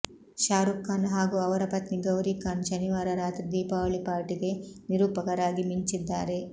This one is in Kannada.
ಶಾರೂಕ್ ಖಾನ್ ಹಾಗೂ ಅವರ ಪತ್ನಿ ಗೌರಿ ಖಾನ್ ಶನಿವಾರ ರಾತ್ರಿ ದೀಪಾವಳಿ ಪಾರ್ಟಿಗೆ ನಿರೂಪಕರಾಗಿ ಮಿಂಚಿದ್ದಾರೆ